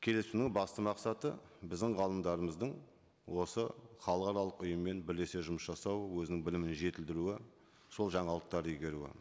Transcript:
келісімнің басты мақсаты біздің ғалымдарымыздың осы халықаралық ұйыммен бірлесе жұмыс жасау өзінің білімін жетілдіруі сол жаңалықтар игеруі